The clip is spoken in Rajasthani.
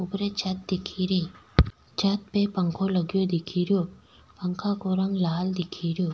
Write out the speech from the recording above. ऊपरे छत दिखे री छत पे पंखो लगो दिखे रियो पंखा को रंग लाल दिखे रो।